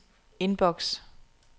inbox